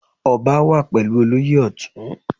Ọba wà pẹ̀lú olóyè Ọtun.